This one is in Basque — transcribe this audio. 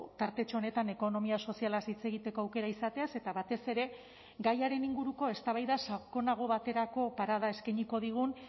tartetxo honetan ekonomia sozialaz hitz egiteko aukera izateaz eta batez ere gaiaren inguruko eztabaida sakonago baterako parada eskainiko digun